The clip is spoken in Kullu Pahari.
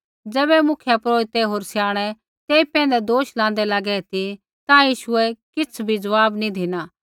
ज़ैबै मुख्यपुरोहिता होर स्याणै तेई पैंधै दोष लाँदै लागै ती ता यीशुऐ किछ़ बी ज़वाब नी धिना